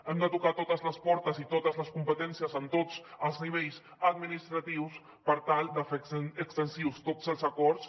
hem de tocar totes les portes i totes les competències en tots els nivells administratius per tal de fer extensius tots els acords